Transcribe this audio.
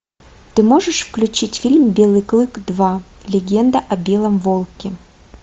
ты можешь включить фильм белый клык два легенда о белом волке